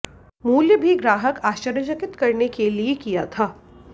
मूल्य भी ग्राहक आश्चर्यचकित करने के लिए किया था